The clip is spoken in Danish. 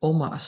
og Mars